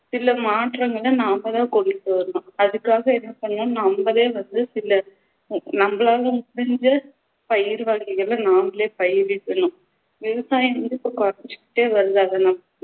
சில மாற்றங்களை நாம தான் கொண்டுட்டு வரணும் அதுக்காக என்ன பண்ணணும் நமமலே நம்மலே வந்து சில நம்மளால முடிஞ்ச பயிர் வகைகளை நாமலே பயிரிடனும் விவசாயம் வந்து இப்போ குறைஞ்சுக்கிட்டே வருது